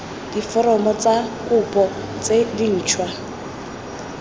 diforomo tsa kopo tse dintšhwa